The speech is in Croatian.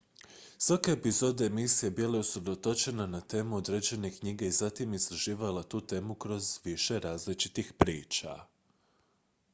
svaka epizoda emisije bila je usredotočena na temu određene knjige i zatim je istraživala tu temu kroz više različitih priča